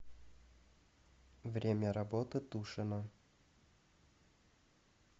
время работы тушино